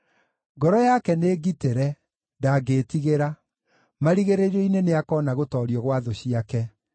Ngoro yake nĩngitĩre, ndangĩĩtigĩra; marigĩrĩrio-inĩ nĩakoona gũtoorio gwa thũ ciake.